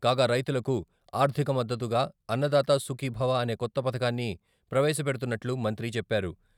కాగా రైతులకు ఆర్థిక మద్దతుగా అన్నదాతా సుఖీభవ అనే కొత్త పథకాన్ని ప్రవేశపెడుతున్నట్లు మంత్రి చెప్పారు.